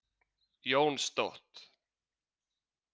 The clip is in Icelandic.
Jónstótt